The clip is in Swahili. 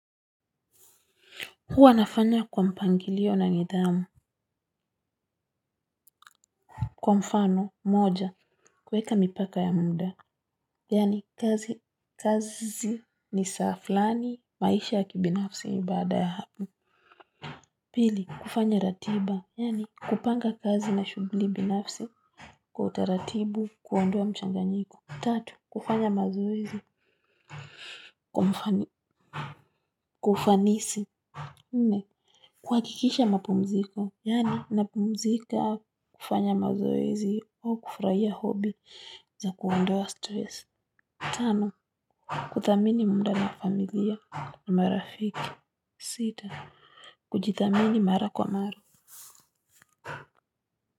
Huwa nafanya kwa mpangilio na nidhamu. Kwa mfano moja kuweka mipaka ya muda. Yani, kazi ni saa fulani maisha ya kibinafsi ni baada ya hapo. Pili kufanya ratiba yani kupanga kazi na shughuli binafsi kwa utaratibu kuondowa mchanganyiko. Tatu kufanya mazoezi kwa ufanisi nne kuhakikisha mapumziko yani, napumzika kufanya mazoezi au kufurahia hobi zaku ondoa stress. Tano, kuthamini muda na familiya na marafiki. Sita, kujithamini mara kwa mara.